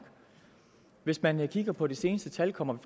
hvis man kigger på de seneste tal kommer